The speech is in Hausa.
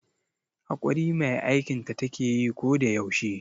Haƙuri mai aikinta takeyi ko da yaushe